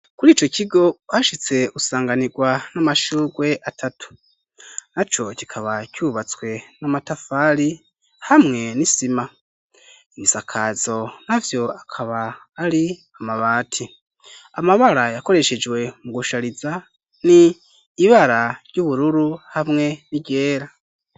Kuri ico kigo uhashitse usanganirwa n'amashugwe atatu, naco kikaba cubatswe n'amatafari hamwe n'isima, ibisakazo navyo akaba ari amabati, amabara yakoreshejwe mu gushariza ni ibara ry'ubururu hamwe n'iryera.